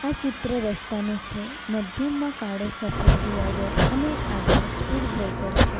ચિત્ર રસ્તા નું છે મધ્યમાં કાળો સફેદ ડિવાઈડર અને આગળ સ્પીડ બ્રેકર છે.